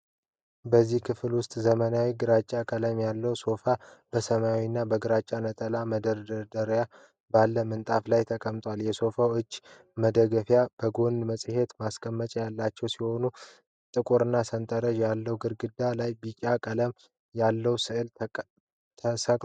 በዚህ ክፍል ውስጥ ዘመናዊና ግራጫ ቀለም ያለው ሶፋ በሰማያዊና በግራጫ ነጠላ መደራረብ ባለ ምንጣፍ ላይ ተቀምጧል። የሶፋው የእጅ መደገፊያዎች ከጎን መጽሔት ማስቀመጫ ያላቸው ሲሆን ጥቁርና ሰንጠረዥ ያለው ግድግዳ ላይ ቢጫ ቀለም ያለው ሥዕል ተሰቅሏል።